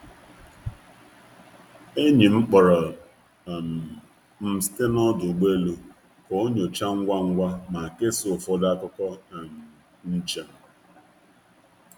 Enyi m kpọrọ m site na ọdụ ụgbọ elu i ji jụta m ese ngwa ngwa ma kesaa ụfọdụ akụkọ njem.